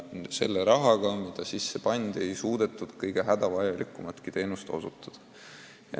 Selle rahaga, mis kasutada oli, ei ole suudetud teinekord kõige hädavajalikumatki abi anda.